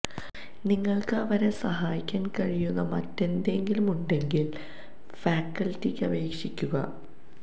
നിങ്ങൾക്ക് അവരെ സഹായിക്കാൻ കഴിയുന്ന മറ്റെന്തെങ്കിലും ഉണ്ടെങ്കിൽ ഫാക്കൽറ്റിക്ക് അപേക്ഷിക്കുക